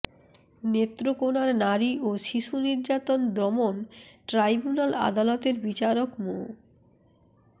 নেত্রকোনার নারী ও শিশু নির্যাতন দমন ট্রাইব্যুনাল আদালতের বিচারক মো